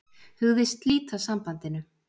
Hugðist slíta sambandinu